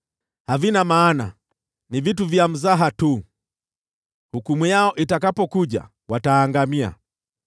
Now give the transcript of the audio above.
Havifai kitu, ni vitu vya kufanyia mzaha tu, hukumu yavyo itakapowadia, vitaangamia.